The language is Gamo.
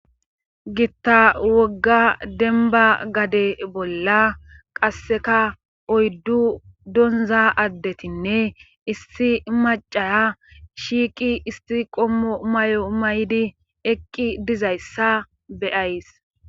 Gitta wogga denba gade bolla qasseka oyddu donza addetinne issi macaya shiiqi isti qommo may'o may'di eqqi dizayssa beyays.